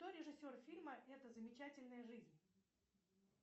кто режиссер фильма эта замечательная жизнь